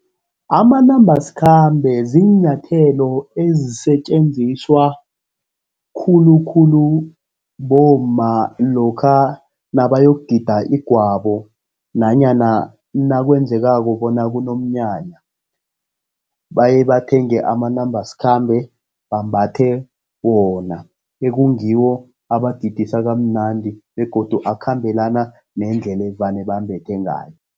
Amanambasikhambe ziinyathelo ezisetjenziswa khulukhulu bomma lokha nabayokugida igwabo, nanyana nakwenzekako bona kunomnyanya. Baye bathenge amanambasikhambe, bambathe wona, ekungiwo abagidisa kamnandi begodu akhambelana nendlela evane bambethe ngayo.